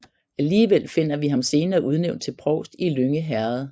Alligevel finder vi ham senere udnævnt til provst i Lynge Herred